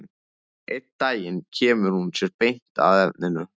Einn daginn kemur hún sér beint að efninu.